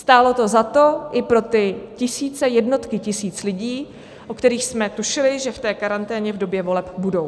Stálo to za to i pro ty tisíce, jednotky tisíc lidí, o kterých jsme tušili, že v té karanténě v době voleb budou.